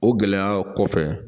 O gɛlɛya kɔfɛ